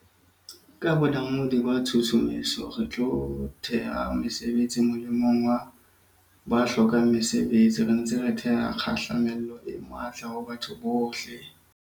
Ka bonamodi ba tshusumetso, re tlo theha mesebetsi molemong wa ba hlokang mesebetsi, re ntse re theha kgahlamelo e matla ho batho bohle.